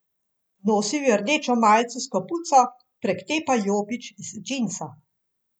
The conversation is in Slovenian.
Nosil je rdečo majico s kapuco, prek te pa jopič iz džinsa.